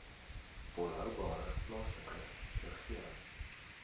volhoubare plaaslike regering